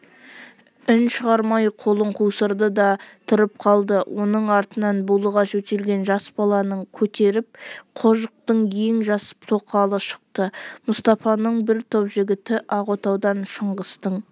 үн шығармай қолын қусырды да тұрып қалды оның артынан булыға жөтелген жас баласын көтеріп қожықтың ең жас тоқалы шықты мұстапаның бір топ жігіті ақ отаудан шыңғыстың